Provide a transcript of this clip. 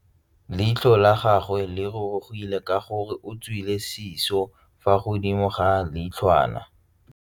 Leitlhô la gagwe le rurugile ka gore o tswile sisô fa godimo ga leitlhwana.